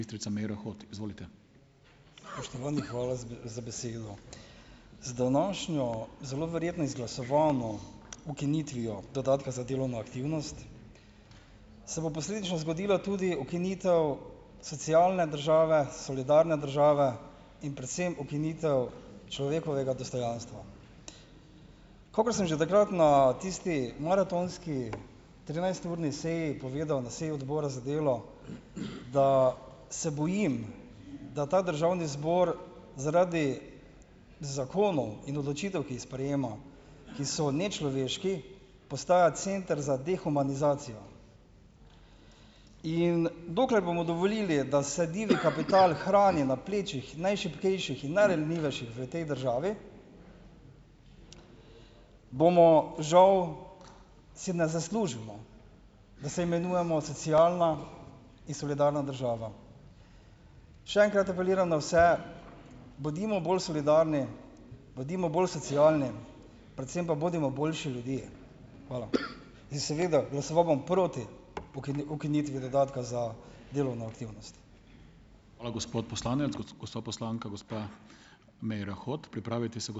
Spoštovani, hvala za za besedo. Z današnjo zelo verjetno izglasovano ukinitvijo dodatka za delovno aktivnost, se bo posledično zgodila tudi ukinitev socialne države, solidarne države in predvsem ukinitev človekovega dostojanstva. Kakor sem že takrat ne tisti maratonski trinajsturni seji povedal, na seji Odbora za delo, da se bojim, da ta državni zbor zaradi zakonov in odločitev, ki ji sprejema, ki so nečloveški, postaja center za dehumanizacijo. In dokler bomo dovolili, da se divji kapital hrani na plečih najšibkejših in najranljivejših v tej državi, bomo žal, si ne zaslužimo, da se imenujemo socialna in solidarna država. Še enkrat apeliram na vse, bodimo bolj solidarni, bodimo bolj socialni, predvsem pa bodimo boljši ljudje. Hvala. In seveda glasoval bom proti ukinitvi dodatka za delovno aktivnost.